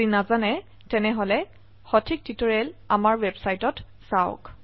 নহলে প্ৰাসঙ্গিক টিউটোৰিয়েলৰ বাবে আমাৰ ওয়েবসাইট পৰিদৰ্শন কৰক